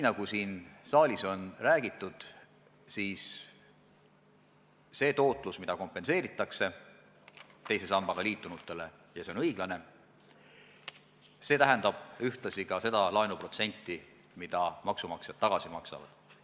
Nagu siin saalis on räägitud, see tootlus, mis kompenseeritakse teise sambaga liitunutele – ja see on õiglane –, tähendab ühtlasi ka seda laenuprotsenti, mida maksumaksjad tagasi maksavad.